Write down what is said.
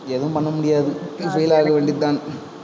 எதுவும் பண்ண முடியாது. நீ fail ஆகவேண்டிதான்